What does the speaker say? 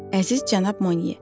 Əziz cənab Moniye.